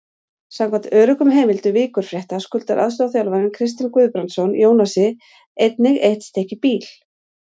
Samkvæmt öruggum heimildum Víkurfrétta skuldar aðstoðarþjálfarinn Kristinn Guðbrandsson Jónasi einnig eitt stykki bíl.